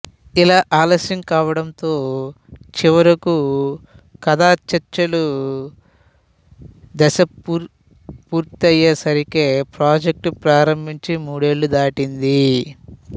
ఇలా ఆలస్యం కావడంతో చివరకు కథాచర్చలు దశ పూర్తయ్యేసరికే ప్రాజెక్టు ప్రారంభించి మూడేళ్ళు దాటింది